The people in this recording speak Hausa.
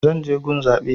Zan je gun zaɓe